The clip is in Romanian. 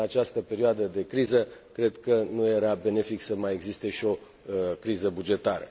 În această perioadă de criză, cred că nu era benefic să mai existe și o criză bugetară.